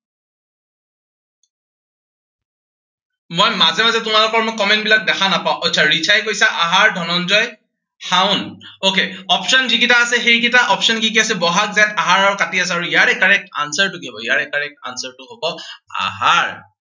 মই মাজে মাজে তোমালোকৰ মই comment বিলাক দেখা নাপাও। আচ্ছা ৰিচাই কি কৈছা আহাৰ, ধনঞ্জয় শাওণ। okay, option যি কেইটা আছে, সেই কিটা option কি কি আছে, বহাগ জেঠ আহাৰ আৰু কাতি আছে। ইয়াৰে correct answer টো কি হব, ইয়াৰে correct answer টো হব, আহাৰ।